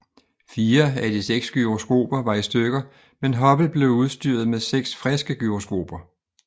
Fire af de seks gyroskoper var i stykker men Hubble blev udstyret med seks friske gyroskoper